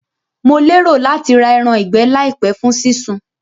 Mo lérò láti ra eran ìgbẹ́ làìpé fún sí sun